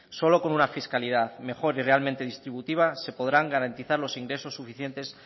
solo con una fiscalidad mejor y realmente distributiva se podrán garantizar los ingresos suficientes